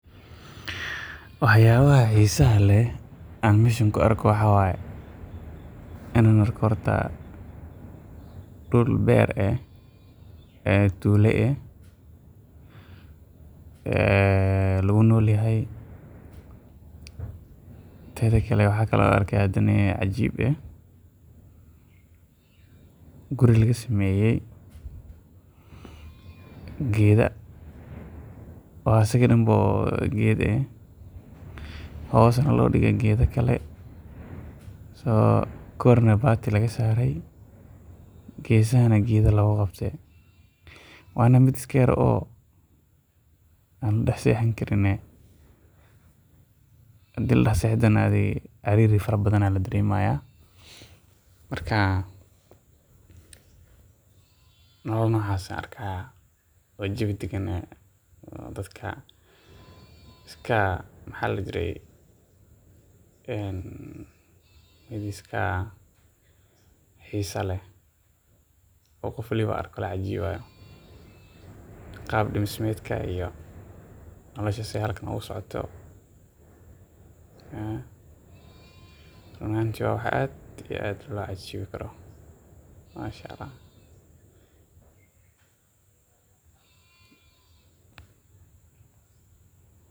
Wax yaabaha xiisa leh aan meeshan ku arko waxaa waye inaan arko horta dul beer eh ee tuulo eh ee lagu nool yahay, teeda kale waxaan kale oo aan arkaaya hadane cajiib ah, guri laga sameeye geeda oo asaga danba geed eh oo hoosna loo dige geeda kale, korna baati laga saare geesahana geeda looga qabte, waana mid iska yar oo la dex seexan karin, hadii la dex seexdo na cariiri fara badan ayaa la dareemaya, Marka nolol noocas ah Ayaan arkaaya oo jawi dagan ah oo dadka iska xiisa leh oo qof waliba oo arko lacajiibayo, qaab dismeedka iyo nolosha sidaay halkan ooga socoto run ahaanti waa wax aad iyo aad loo xiiseyo masha allah.